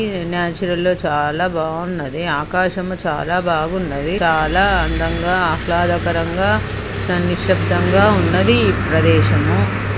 చాలా బావున్నది. ఆకాశము చాలా బాగున్నవి. చాలా అందంగా ఆహ్లాదకరంగా సంక్షిప్తంగా ఉన్నది ఈ ప్రదేశము.